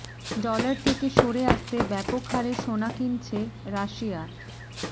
dollar থেকে সরে আসতে ব্যাপক হারে সোনা কিনছে রাশিয়া